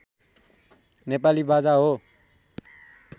नेपाली बाजा हो